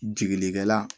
Jigilikɛla